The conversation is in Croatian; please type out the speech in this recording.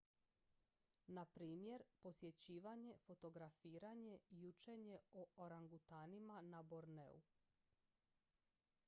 na primjer posjećivanje fotografiranje i učenje o orangutanima na borneu